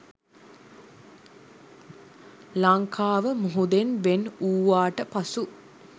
ලංකාව මුහුදෙන් වෙන් වූවාට පසු